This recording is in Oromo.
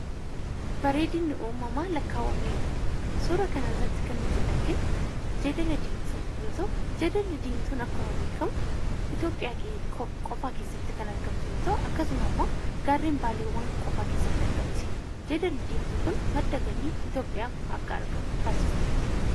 Bareedinni uumamaa lakkaawamee hin dhumu. Suuraa kanarratti kan nuti arginu jeedala diimtuu yoo ta'u, jeedalli diimtuun akkuma beekamu biyya keenya qofaa keessatti kan argamtu yoo ta'u, akkasuma immoo gaarren Baalee qofaa keessatti argamti. Jeedalli diimtuu kun madda galii Itoophiyaaf akka argamu taasifteetti.